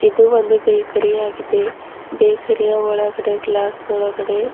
ಇದು ಒಂದು ಬೇಕರಿ ಯಾಗಿದೆ ಬೇಕರಿ ಯ ಒಳಗಡೆ ಗ್ಲಾಸ್ ಒಳಗಡೆ--